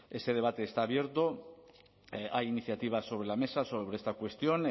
ese debate está abierto a iniciativas sobre la mesa sobre esta cuestión